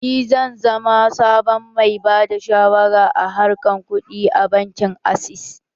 Ni zan zama sabon mai bada shawara a harkan kuɗi a bankin access